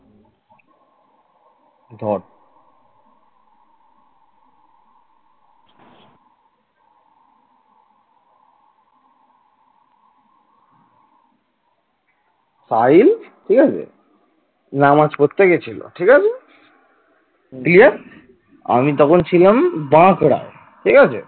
সাহিল ঠিক আছে নামাজ পড়তে গেছিল ঠিক আছে দিয়ে আমি তখন ছিলাম বাঁকুড়ায় ঠিক আছে।